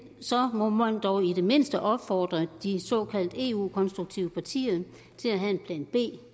så må man dog i det mindste opfordre de såkaldt eu konstruktive partier til at have en plan b